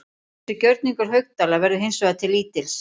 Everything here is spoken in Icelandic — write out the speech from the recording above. Þessi gjörningur Haukdæla verður hins vegar til lítils.